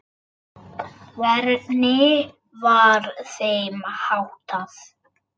Hvernig var þeim háttað?